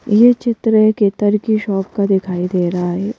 यह चित्र एक इत्र की शॉप का दिखाई दे रहा है।